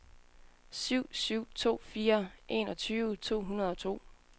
syv syv to fire enogtyve to hundrede og to